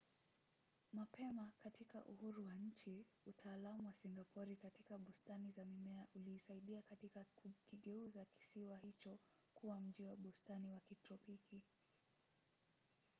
mapema katika uhuru wa nchi utaalamu wa singapori katika bustani za mimea uliisaidia katika kukigeuza kisiwa hicho kuwa mji wa bustani wa kitropiki